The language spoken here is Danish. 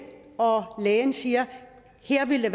og lægen siger her ville